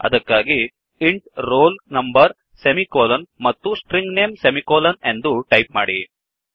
ಅದಕ್ಕಾಗಿ int roll number semicolon ಮತ್ತು string name semicolon ಎಂದು ಟೈಪ್ ಮಾಡಿ